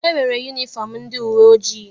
E nwere yunifọm ndị uwe ojii.